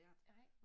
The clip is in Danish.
Nej